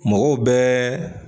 Mɔgɔw bɛɛ